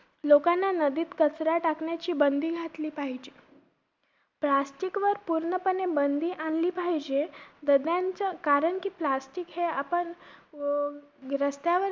लोकांना नदीत कचरा टाकण्याची बंदी घातली पाहिजे. plastic वर पूर्णपणे बंदी आणली पाहिजे. दरम्यानचं कारण कि plastic हे आपण अं रस्त्यावर